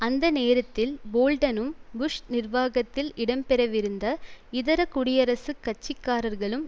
அந்த நேரத்தில் போல்டனும் புஷ் நிர்வாகத்தில் இடம் பெற விருந்த இதர குடியரசுக் கட்சிக்காரர்களும்